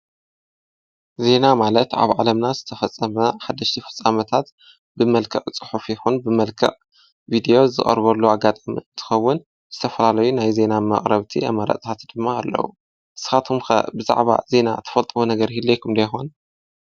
ዜና ማለት ኣብ ዓለምና ዝተፈፀመ ሓደሽቲ ፍጻመታት ብመልክዕ ፅሑፍ ይኩን ብመልክዕ ቪድዮ ዝቀርበሉ ኣጋጣሚ እንትከዉን ዝተፈላለዩ ናይ ዜና መቅረብቲ ኣማራጺታት ድማ ኣለዉ። ንስካትኩም ኸ ብዛዕባ ዜና ትፈልጥዎ ነገር ይህልየኩም ዶ ይኮን ?